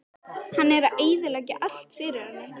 Hann er að eyðileggja allt fyrir henni.